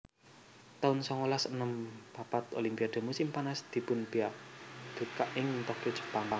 taun songolas enem papat Olimpiade musim panas dipunbikak ing Tokyo Jepang